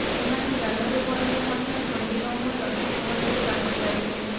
ସେମାନେ ଜାଲରେ ପଡ଼ିଲେ ମଧ୍ୟ ଛନ୍ଦି ନ ହୋଇ ଅତି ସହଜରେ ବାହାରି ପାରିବେ